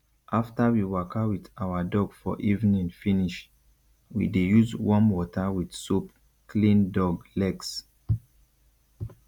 after we waka with our dog for evening finish we dey use warm water with soap clean dog legs